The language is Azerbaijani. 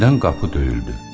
Birdən qapı döyüldü.